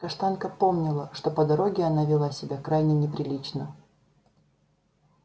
каштанка помнила что по дороге она вела себя крайне неприлично